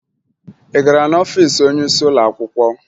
Ị gara n'ọfiisi onyeisi ụlọ akwụkwọ?